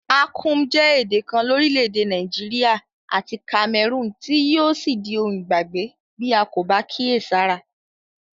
Akum je èdè kan lórílẹ̀dè Naijiria àti Cameroon tí yio sí di oun ìgbàgbé bi a ko ba kíèsára